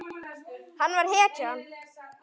Hann var hetjan.